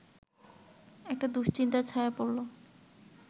একটা দুশ্চিন্তার ছায়া পড়ল